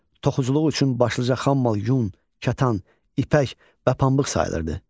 Toxuculuq üçün başlıca xammal yun, kətan, ipək və pambıq sayılırdı.